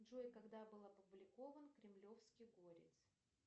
джой когда был опубликован кремлевский горец